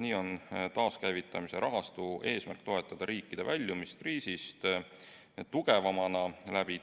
Nii on taaskäivitamise rahastu eesmärk toetada riikide väljumist kriisist tugevamana